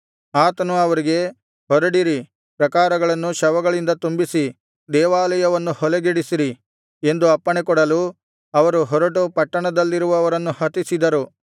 ಆತನು ಅವರಿಗೆ ಹೊರಡಿರಿ ಪ್ರಾಕಾರಗಳನ್ನು ಶವಗಳಿಂದ ತುಂಬಿಸಿ ದೇವಾಲಯವನ್ನು ಹೊಲೆಗೆಡಿಸಿರಿ ಎಂದು ಅಪ್ಪಣೆ ಕೊಡಲು ಅವರು ಹೊರಟು ಪಟ್ಟಣದಲ್ಲಿದ್ದವರನ್ನು ಹತಿಸಿದರು